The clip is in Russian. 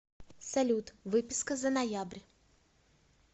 салют выписка за ноябрь